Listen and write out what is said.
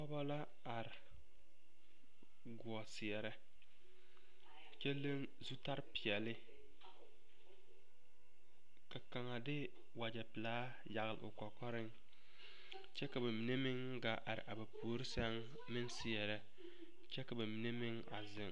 pɔgebɔ la are goɔ seɛrɛ kyɛ leŋ zutare peɛle ka kaŋa de wagyɛ pelaa yagle o kɔkɔreŋ kyɛ ka ba mine meŋ gaa are a ba puori sɛŋ meŋ seɛrɛ kyɛ ka ba mine meŋ a zeŋ.